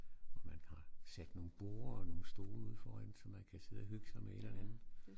Hvor man har sat nogle borde og nogle stole ude foran så man kan sidde og hygge sig med et eller andet